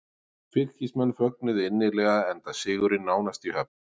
Fylkismenn fögnuðu innilega enda sigurinn nánast í höfn.